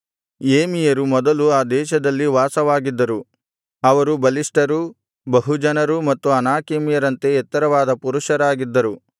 ಏಮಿಯರು ಮೊದಲು ಆ ದೇಶದಲ್ಲಿ ವಾಸವಾಗಿದ್ದರು ಅವರು ಬಲಿಷ್ಠರೂ ಬಹುಜನರೂ ಮತ್ತು ಅನಾಕೀಮ್ಯರಂತೆ ಎತ್ತರವಾದ ಪುರುಷರಾಗಿದ್ದರು